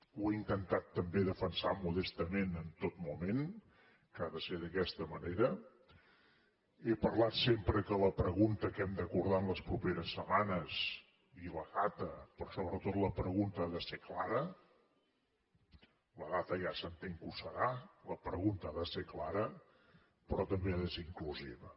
ho he intentat també defensar modestament en tot moment que ha de ser d’aquesta manera he parlat sempre que la pregunta que hem d’acordar en les properes setmanes i la data però sobretot la pregunta ha de ser clara la data ja s’entén que ho serà la pregunta ha de ser clara però també ha de ser inclusiva